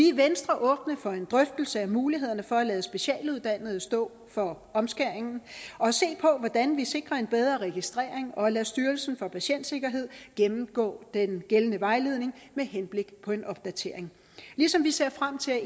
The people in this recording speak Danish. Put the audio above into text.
i venstre åbne for en drøftelse af mulighederne for at lade specialuddannede stå for omskæring og se på hvordan vi sikrer en bedre registrering og lader styrelsen for patientsikkerhed gennemgå den gældende vejledning med henblik på en opdatering ligesom vi ser frem til at